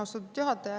Austatud juhataja!